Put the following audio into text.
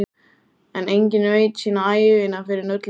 En enginn veit sína ævina fyrr en öll er.